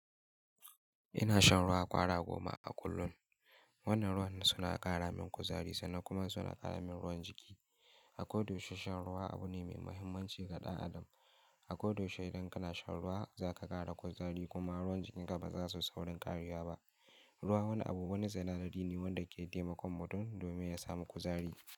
Ina shan ruwa kwara goma a kullum. Wannan ruwan suna ƙara min kuzari sannan kuma suna ƙaramin ruwan jiki. A kodayaushe shan ruwa abu ne mai muhimmanci ga ɗan adam. A kodayaushe idan kana shan ruwa zaka ƙara kuzari kuma ruwan jikinka ba za suyu saurin ƙarewa ba. Ruwa wani abu wani sinadari ne wanda ke taimakon mutum domin ya samu kuzari.